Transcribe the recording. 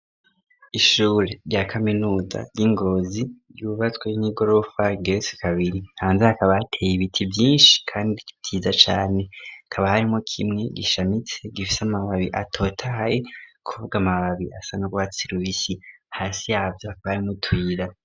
Ishure rya kaminuta ry'ingozi ryubatswe n'igorofal geesi kabiri hanze hakabateye ibiti vyinshi, kandi tiza cane kaba harimo kimwe gishamitse gifise amababi atotahahe kuvuwa amababi asa n'gwatsira ubisi hasi yavyo akaramwo utwira.